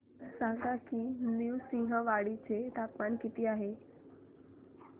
सांगा की नृसिंहवाडी चे तापमान किती आहे